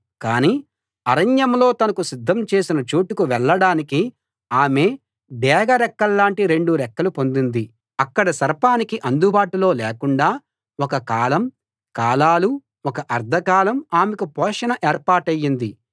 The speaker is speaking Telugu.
కానీ అరణ్యంలో తనకు సిద్ధం చేసిన చోటుకు వెళ్ళడానికి ఆమె డేగ రెక్కల్లాంటి రెండు రెక్కలు పొందింది అక్కడ సర్పానికి అందుబాటులో లేకుండా ఒక కాలం కాలాలు ఒక అర్థకాలం ఆమెకు పోషణ ఏర్పాటయింది